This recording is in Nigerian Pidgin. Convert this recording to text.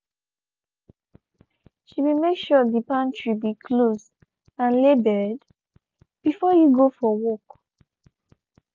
she be make sure de pantry be closed and labeled before e go out for work.